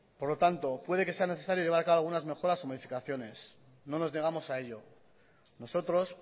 por lo tanto puede que sea necesario llevar a cabo algunas mejoras o modificaciones no nos negamos a ello nosotros